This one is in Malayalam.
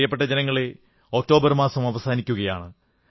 പ്രിയപ്പെട്ട ജനങ്ങളേ ഒക്ടോബർ മാസം അവസാനിക്കയാണ്